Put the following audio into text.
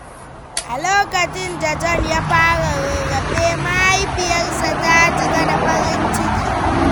A lokacin da John ya fara rarrafe, mahaifiyarsa ta cika da farin ciki.